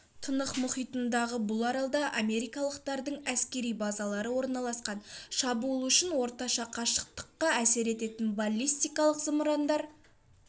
тынық мұхитындағы бұл аралда америкалықтардың әскери базалары орналасқан шабуыл үшін орташа қашықтыққа әсер ететін баллистикалық зымырандар